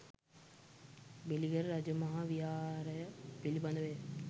බෙලිගල රජ මහා විහාරය පිළිබඳවය.